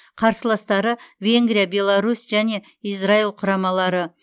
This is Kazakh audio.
қарсыластары венгрия беларусь және израиль құрамалары